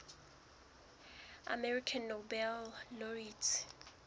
american nobel laureates